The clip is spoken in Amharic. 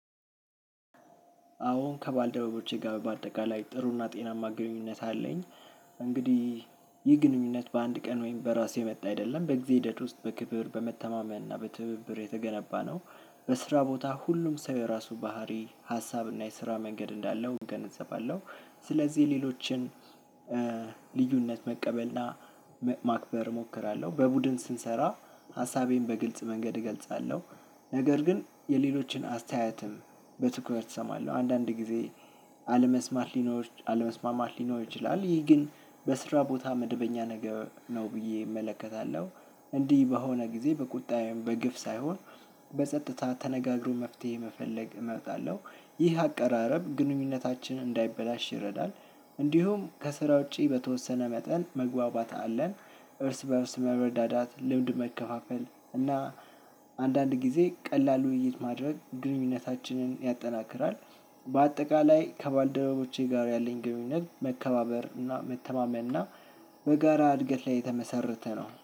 አወ ከባልደረቦቼ ጋር ባጠቃላይ ጥሩ እና ጤናማ ግኑኝነት አለኝ። እንግዲህ ይህ ግኑኝነት ባንድ ቀን ወይም በራስ የመጣ አይደለም በጊዜ ሂደት ውስጥ በክብር እና በመተማመን እና በትብብር የተገነባ ነው። በስራቦታ ሁሉም ሰው የራሱ ባህሪ ሃሳብና የስራ መንገድ እንዳለው እገነዘባለሁ። ስለዚህ ሌሎቺም ልዩነት መቀበልና ማክበር እሞክራለሁ በቡድን ስንሰራ ሃሳቤን በግልጽ መንገድ እገልጻለሁ። ነገር ግን የሌሎችን አስተያየትም በትኩረት እሰማለሁ። አንዳንድ ጊዜ አለመስማት ሊኖር አለመስማማት ሊኖር ይችላል። ይህ ግን በስራ ቦታ መደበኛ ነገር ነው ብዬ እመለከታለሁ። እንዲህ በሆነ ጊዜ በቁጣዬም በግፍ ሳይሆን በጸጥታ ተነጋግሮ መፍትሄ መፈለግን እመርጣለሁ። ይህ አቀራረብ ግንኙነታችን እንዳይበላሽ ይረዳል። እንዲሁም ከስራ ውጪ በተወሰነ መጠን መግባባት አለን። እርስ በእርስ መረዳዳት ልምድ መከፋፈል እና አንዳንድ ጊዜ ቀላሉ ውይይት ማድረግ ግንኙነታችንን ያጠናክራል። በአጠቃላይ ከባልደረቦቼ ጋር ያለኝ ግንኙነት መከባበር እና መተማመን እና በጋራ እድገት ላይ የተመሰረተ ነው